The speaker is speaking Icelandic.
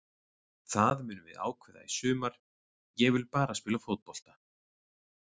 Það munum við ákveða í sumar, ég vil bara spila fótbolta.